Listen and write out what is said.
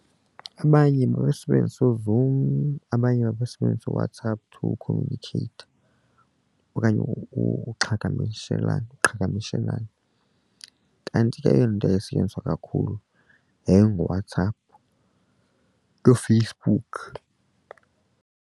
Abanye babesebenzisa uZoom abanye babasebenzi uWhatsApp to communicate okanye ukuqhagamshelana qhagamshelane kanti ke eyona nto ayayisetyenziswa kakhulu yayinguWhatsApp noFacebook.